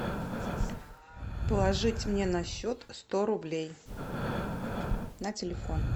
положить мне на счет сто рублей на телефон